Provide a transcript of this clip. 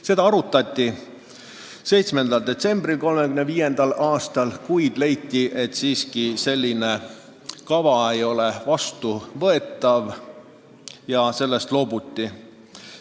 Seda arutati 7. detsembril 1935. aastal, kuid leiti, et selline kava ei ole siiski vastuvõetav, ja sellest loobuti.